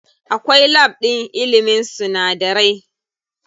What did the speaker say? Akwai lab ɗin ilimin sunadarai.